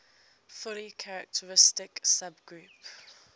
fully characteristic subgroup